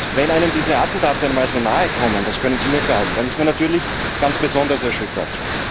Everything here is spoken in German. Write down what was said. Wenn einem diese Attentate mal so nahe kommen, das können Sie mir glauben, ist man natürlich ganz besonders erschüttert.